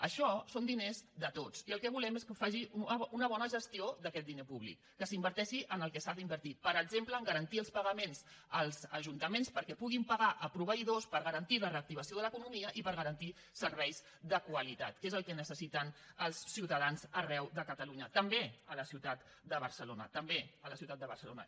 això són diners de tots i el que volem és que faci una bona gestió d’aquest diner públic que s’inverteixi en el que s’ha d’invertir per exemple a garantir els pagaments als ajuntaments perquè puguin pagar a proveïdors per garantir la reactivació de l’economia i per garantir serveis de qualitat que és el que necessiten els ciutadans arreu de catalunya també a la ciutat de barcelona també a la ciutat de barcelona